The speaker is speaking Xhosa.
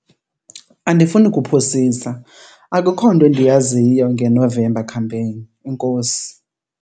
Andifuni kuphosisa akukho nto endiyaziyo ngeNovember Campaign. Enkosi